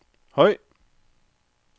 høj